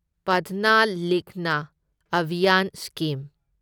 ꯄꯥꯙꯅ ꯂꯤꯈꯅ ꯑꯚꯤꯌꯥꯟ ꯁ꯭ꯀꯤꯝ